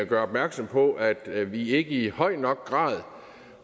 gør opmærksom på at vi ikke i høj nok grad